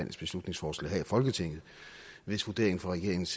beslutningsforslag her i folketinget hvis vurderingen fra regeringens